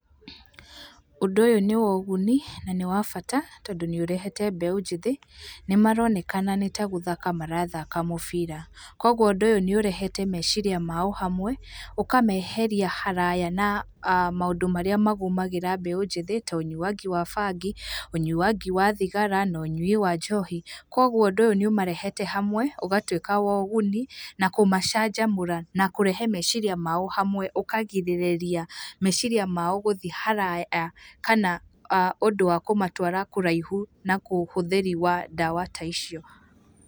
Ũndũ ũyũ nĩ woguni na nĩ wa bata tondũ nĩ ũrehete mbeũ njĩthĩ, nĩ maronekana nĩta gũthaka marathaka mũbira. Koguo ũndũ ũyũ nĩ ũrehete meciiria mao hamwe, ũkameheria haraya na maũndũ marĩa magũmagĩra mbeũ njĩthĩ ta ũnyuangi wa bangi, ũnyuangi wa thigara na ũnyui wa njohi, koguo ũndũ ũyũ nĩ ũmarehete hamwe ũgatuĩka woguni, na kũmacanjamũra, na kũrehe meciiria mao hamwe, ũkagirĩrĩria meciiria mao gũthi haraya kana, ũndũ wa kũmatwara kũraihu na kũhũthĩri wa ndawa ta icio.